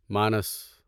مانس